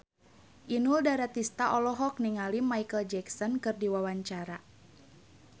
Inul Daratista olohok ningali Micheal Jackson keur diwawancara